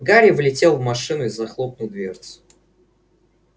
гарри влетел в машину и захлопнул дверцу